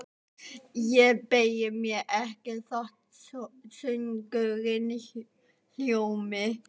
Ég beygi mig ekki þótt söngurinn hljómi: